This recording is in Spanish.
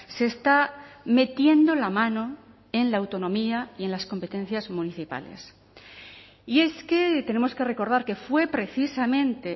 se está metiendo la mano en la autonomía y en las competencias municipales y es que tenemos que recordar que fue precisamente